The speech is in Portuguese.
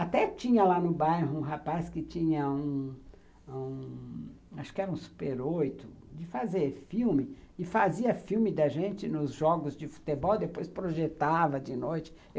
Até tinha lá no bairro um rapaz que tinha, acho que era um Super oito, de fazer filme, e fazia filme da gente nos jogos de futebol, depois projetava de noite.